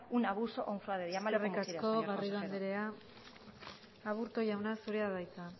un abuso o un fraude llámalo como quieras eskerrik asko garrido andrea aburto jauna zurea da hitza